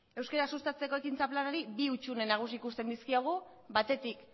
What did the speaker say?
euskara sustatzeko planari bi hutsune nagusi ikusten dizkiogu batetik